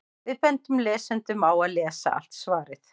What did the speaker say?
Við bendum lesendum á að lesa allt svarið.